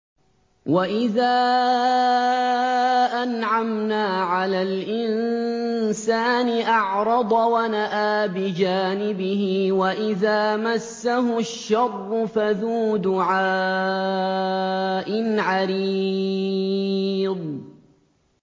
وَإِذَا أَنْعَمْنَا عَلَى الْإِنسَانِ أَعْرَضَ وَنَأَىٰ بِجَانِبِهِ وَإِذَا مَسَّهُ الشَّرُّ فَذُو دُعَاءٍ عَرِيضٍ